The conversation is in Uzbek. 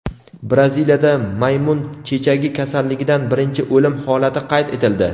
Braziliyada maymun chechagi kasalligidan birinchi o‘lim holati qayd etildi.